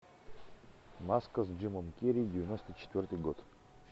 маска с джимом керри девяносто четвертый год